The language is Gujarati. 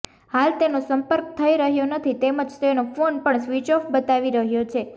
હાલ તેનો સંપર્ક થઇ રહૃાો નથી તેમજ તેનો ફોન પણ સ્વીચ ઓફ બતાવી રહૃાો છે